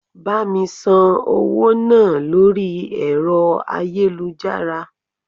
Bá mi san owó náà lórí ẹ̀rọ ayélujára.